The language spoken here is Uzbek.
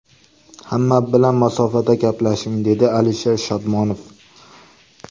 Hamma bilan masofada gaplashing”, dedi Alisher Shodmonov.